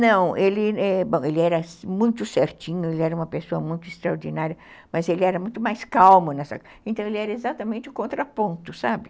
Não, ele era muito certinho, ele era uma pessoa muito extraordinária, mas ele era muito mais calmo, então ele era exatamente o contraponto, sabe?